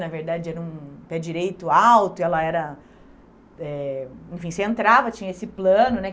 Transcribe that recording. Na verdade, era um pé direito alto e ela era... Eh enfim, você entrava, tinha esse plano, né?